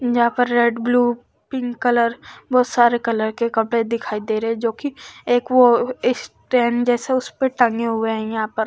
यहाँ पर red blue pink colour बहुत सारे कलर के कपड़े दिखाई दे रहे हैं जो कि एक वो इस्टैंड जैसा उस पे टंगे हुए हैं यहाँ पर।